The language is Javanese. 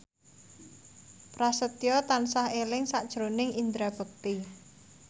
Prasetyo tansah eling sakjroning Indra Bekti